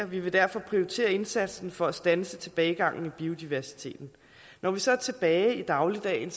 vi vil derfor prioritere indsatsen for at standse tilbagegangen i biodiversiteten når vi så er tilbage i dagligdagen